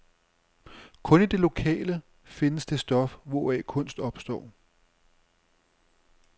Kun i det lokale findes det stof, hvoraf kunst opstår.